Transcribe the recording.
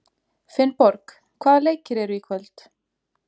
Finnborg, hvaða leikir eru í kvöld?